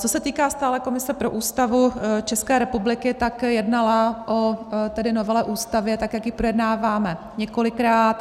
Co se týká stálé komise pro Ústavu České republiky, tak jednala o novele Ústavy tak, jak ji projednáváme, několikrát.